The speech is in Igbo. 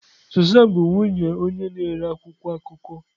Susan bụ nwunye onye na-ere akwụkwọ akụkọ.